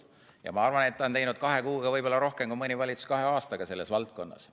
Aga ma arvan, et ta on teinud kahe kuuga võib-olla rohkem kui mõni valitsus kahe aastaga selles valdkonnas.